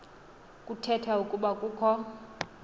kuthetha ukuba kukho